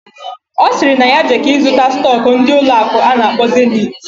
Osiri na ya jeke ịzụta stock ndi ụlọ akụ ana akpo Zenith.